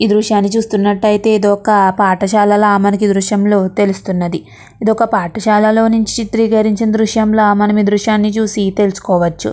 ఈ దృశ్యాన్ని చూసినట్లయితే ఇది ఒక పాఠశాలలోలో నుంచి దృశ్యాన్ని తెలుస్తున్నది ఇది ఒక పాఠశాలలో నుంచి చిత్రకరించిన దృశ్యాన్ని చూసి తెలుసుకోవచ్చు.